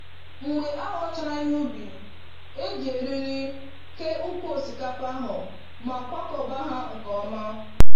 Mgbe a ghọchara ihe ubi, e ji eriri ke ụkwụ osikapa ahụ ma kwakọba ha nke ọma.